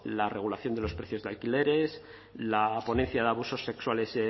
la regulación de los precios de alquileres la ponencia de abusos sexuales